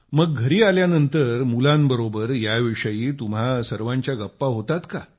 मग घरी आल्यानंतर मुलांबरोबर याविषयी तुम्हा सर्वांच्या गप्पा होतात का